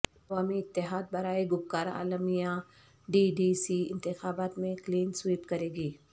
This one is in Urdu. عوامی اتحاد برائے گپکار اعلامیہ ڈی ڈی سی انتخابات میں کلین سویپ کریگی